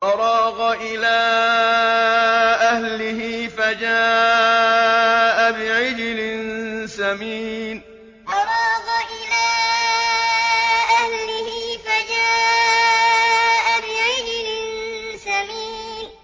فَرَاغَ إِلَىٰ أَهْلِهِ فَجَاءَ بِعِجْلٍ سَمِينٍ فَرَاغَ إِلَىٰ أَهْلِهِ فَجَاءَ بِعِجْلٍ سَمِينٍ